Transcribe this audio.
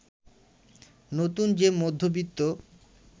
নতুন যে মধ্যবিত্ত